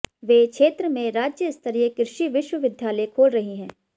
वे क्षेत्र में राज्य स्तरीय कृषि विश्वविद्यालय खोल रही हैं